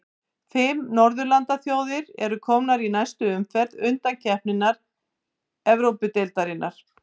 Fimm norðurlandaþjóðir eru komnar í næstu umferð undankeppni Evrópudeildarinnar.